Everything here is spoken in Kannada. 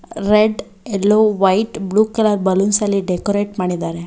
Red yellow white blue colour balloons ಅಲ್ಲಿ ಡೆಕೋರೇಟ್ ಮಾಡಿದರೆ.